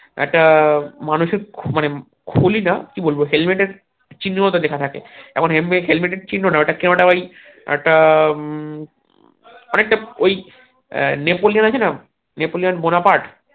একটা মানুষের খুলি যা কি বলবো হেলমেটের চিহ্নে ও তা লেখা থাকে এমন হেলমেট হেলমেটের চিহ্ন না এটা কে ওটা ওই একটা অনেকটা ওই আহ নেপোলিয়ান আছে না নেপোলিয়ান বোনাপাট